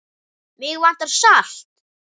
Mig vantar salt.